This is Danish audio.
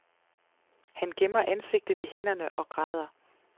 Han gemmer ansigtet i hænderne og græder.